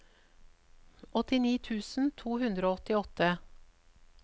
åttini tusen to hundre og åttiåtte